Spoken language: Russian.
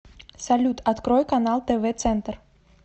салют открой канал тв центр